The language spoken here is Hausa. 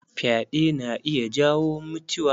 Fyaɗe na iya jawo mutiwa.